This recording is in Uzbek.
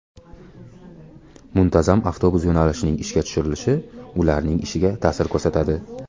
Muntazam avtobus yo‘nalishining ishga tushirilishi ularning ishiga ta’sir ko‘rsatadi.